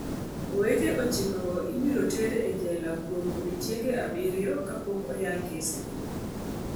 Owete ochikogo ibiro ter e jela kuom odiechienge abiriyo ka pok oyal kesgi.